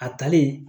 A talen